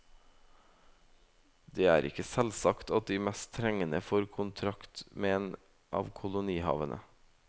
Det er ikke selvsagt at de mest trengende får kontrakt med en av kolonihavene.